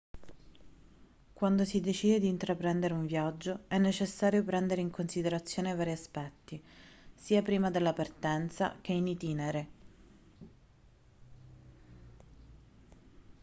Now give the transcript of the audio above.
quando si decide di intraprendere un viaggio è necessario prendere in considerazione vari aspetti sia prima della partenza che in itinere